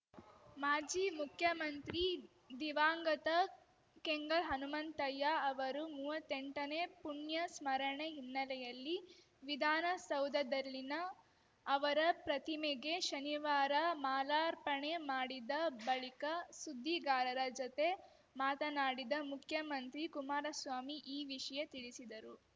ಮಾಜಿ ಮುಖ್ಯಮಂತ್ರಿ ದಿವಂಗತ ಕೆಂಗಲ್‌ ಹನುಮಂತಯ್ಯ ಅವರು ಮೂವತ್ತೆಂಟನೇ ಪುಣ್ಯ ಸ್ಮರಣೆ ಹಿನ್ನೆಲೆಯಲ್ಲಿ ವಿಧಾನಸೌಧದಲ್ಲಿನ ಅವರ ಪ್ರತಿಮೆಗೆ ಶನಿವಾರ ಮಾಲಾರ್ಪಣೆ ಮಾಡಿದ ಬಳಿಕ ಸುದ್ದಿಗಾರರ ಜತೆ ಮಾತನಾಡಿದ ಮುಖ್ಯಮಂತ್ರಿ ಕುಮಾರಸ್ವಾಮಿ ಈ ವಿಷಯ ತಿಳಿಸಿದರು